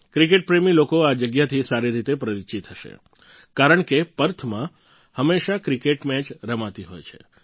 cricket પ્રેમી લોકો આ જગ્યાથી સારી રીતે પરિચિત હશે કારણ કે પર્થમાં હંમેશા ક્રિકેટ મેચ થઈ રહે છે